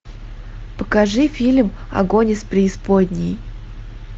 покажи фильм огонь из преисподней